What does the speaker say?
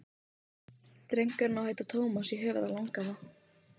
Drengurinn á að heita Tómas í höfuðið á langafa.